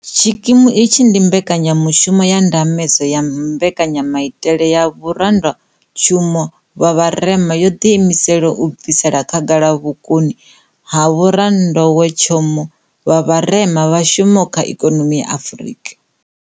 Tshikimu itshi ndi mbekanyamushumo ya ndambedzo ya Mbekanyamaitele ya Vhoranḓowetshumo vha Vharema yo ḓiimiselaho u bvisela khagala vhukoni ha vhoranḓowetshumo vha vharema vha shumaho kha ikonomi ya Afurika